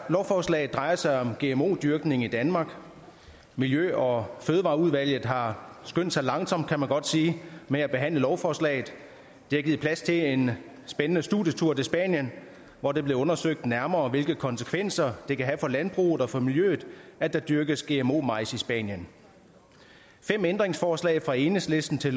lovforslaget drejer sig om gmo dyrkning i danmark miljø og fødevareudvalget har skyndt sig langsomt kan man godt sige med at behandle lovforslaget det har givet plads til en spændende studietur til spanien hvor det blev undersøgt nærmere hvilke konsekvenser det kan have for landbruget og for miljøet at der dyrkes gmo majs i spanien fem ændringsforslag fra enhedslisten til